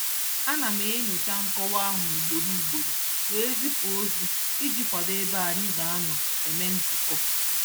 Ana m enyocha nkọwa ahụ ugboro ugboro wee zipu ozi iji kwado ebe anyị ga-anọ eme nzukọ.